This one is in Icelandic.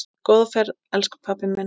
Góða ferð, elsku pabbi minn.